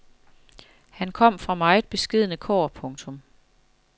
Han kom fra meget beskedne kår. punktum